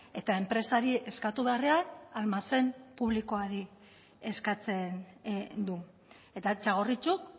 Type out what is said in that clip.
eta enpresari eskatu beharrean almazen publikoari eskatzen du eta txagorritxuk